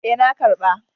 E, na ƙarba.